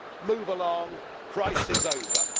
move along crisis over.